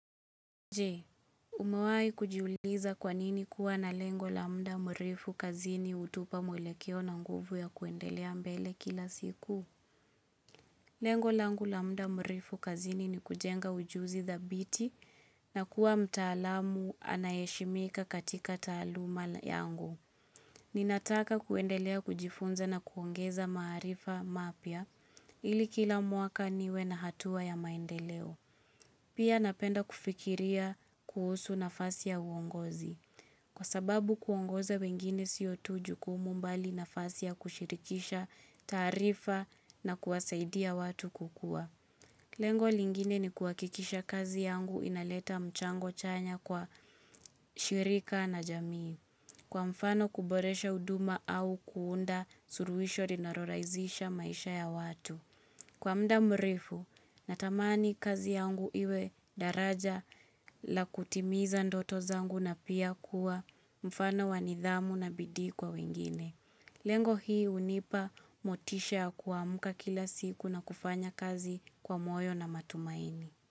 Je, umewai kujiuliza kwanini kuwa na lengo lamda mrefu kazini utupa mwele keo na nguvu ya kuendelea mbele kila siku? Lengo langu lamda mwrefu kazini ni kujenga ujuzi thabiti na kuwa mtaalamu anayeshimika katika taluuma yangu. Ninataka kuendelea kujifunza na kuongeza maarifa mapya ili kila mwaka niwe na hatua ya maendeleo. Pia napenda kufikiria kuhusu nafasi ya uongozi. Kwa sababu kuongoza wengine siyo tujukumu mbali nafasi ya kushirikisha tarifa na kuwasaidia watu kukua. Lengo lingine ni kuakikisha kazi yangu inaleta mchango chanya kwa shirika na jamii. Kwa mfano kuboresha uduma au kuunda suruisho rinarorazisha maisha ya watu. Kwa mda mrefu, natamani kazi yangu iwe daraja la kutimiza ndoto zangu na pia kuwa mfano wanidhamu na bidii kwa wengine. Lengo hii unipa motisha kuamuka kila siku na kufanya kazi kwa moyo na matumaini.